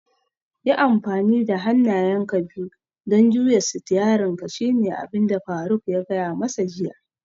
Yi amfani da hannayenka biyu don juya sitiyarinka shine abinda baban faruk ya gaya masa jiya